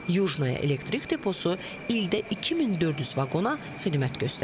Yujnaya elektrik deposu ildə 2400 vaqona xidmət göstərir.